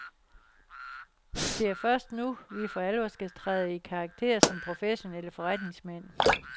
Det er først nu, vi for alvor skal træde i karakter som professionelle forretningsmænd.